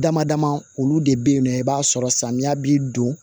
Dama dama olu de be yen nɔ i b'a sɔrɔ samiya bi don